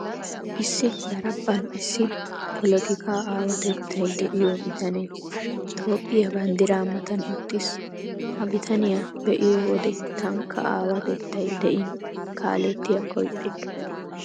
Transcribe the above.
Issi daraphphan iss poletikkaa aawateettay de'iyoo bitanee Toophphiyaa banddiraa matan uttiis. Ha bitaniyaa be'iyoo wode taanikka aawaatettay de'in kaalettiyaakko ixxikke.